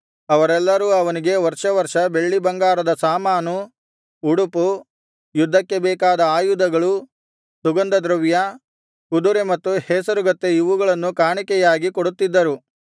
ಅವರೆಲ್ಲರೂ ಅವನಿಗೆ ವರ್ಷ ವರ್ಷ ಬೆಳ್ಳಿಬಂಗಾರದ ಸಾಮಾನು ಉಡುಪು ಯುದ್ಧಕ್ಕೆ ಬೇಕಾದ ಆಯುಧಗಳು ಸುಗಂಧದ್ರವ್ಯ ಕುದುರೆ ಮತ್ತು ಹೇಸರಗತ್ತೆ ಇವುಗಳನ್ನು ಕಾಣಿಕೆಯಾಗಿ ಕೊಡುತ್ತಿದ್ದರು